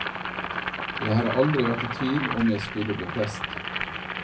Jeg har aldri vært i tvil om jeg skulle bli prest.